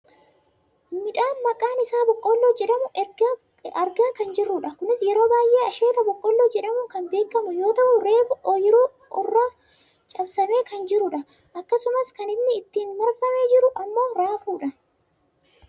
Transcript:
Midhaan maqaan isaa boqqoolloo jedhamu argaa kan jirrudha. Kunis yeroo baayyee asheetta boqqoolloo jedhamuun kan beekkamu yoo ta'u reefu ooyiruu urraa cabsamee kan jirudha. Akkasumas kan inni ittiin marfamee jiru ammoo raafuudha.